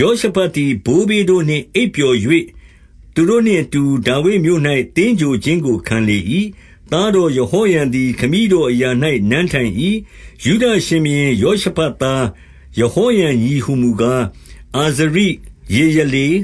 ယောရှဖတ်သည် ဘိုးဘေးတို့နှင့် အိပ်ပျော်၍၊ သူတို့နှင့်အတူ ဒါဝိဒ်မြို့၌ သင်္ဂြိုဟ်ခြင်းကို ခံလေ၏။ သား တော်ယဟောရံသည် ခမည်းတော်အရာ၌ နန်းထိုင်၏။ 2 ယုဒရှင်ဘုရင်ယောရှဖတ်သား၊ ယဟောရံညီဟူ မူကား၊ အာဇရိ၊ ယေယလေ၊